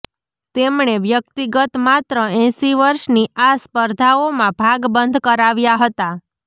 તેમણે વ્યક્તિગત માત્ર એંસી વર્ષની આ સ્પર્ધાઓમાં ભાગ બંધ કરાવ્યા હતા